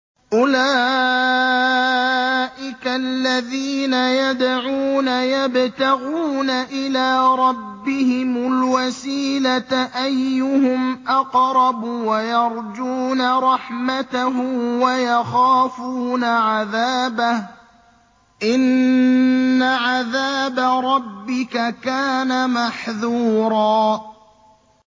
أُولَٰئِكَ الَّذِينَ يَدْعُونَ يَبْتَغُونَ إِلَىٰ رَبِّهِمُ الْوَسِيلَةَ أَيُّهُمْ أَقْرَبُ وَيَرْجُونَ رَحْمَتَهُ وَيَخَافُونَ عَذَابَهُ ۚ إِنَّ عَذَابَ رَبِّكَ كَانَ مَحْذُورًا